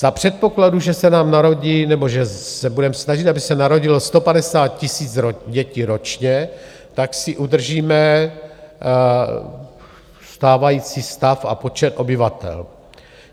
Za předpokladu, že se nám narodí nebo že se budeme snažit, aby se narodilo 150 000 dětí ročně, tak si udržíme stávající stav a počet obyvatel.